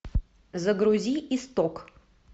загрузи исток